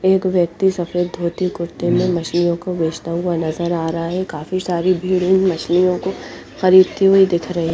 एक व्यक्ति सफ़ेद धोती कुरते में मछलियों को बेचते हुए नज़र आ रह है काफी सारे भेड मछलियों को खरीद टे हुए दिख रहे है।